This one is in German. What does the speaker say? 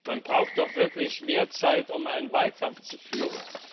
Man braucht doch wirklich mehr Zeit, um einen Wahlkampf zu führen.